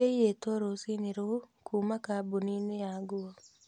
Ciaiyĩtwo rũcinĩ rũu kuuma kambuni-inĩ ya nguo.